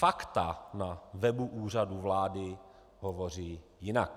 Fakta na webu Úřadu vlády hovoří jinak.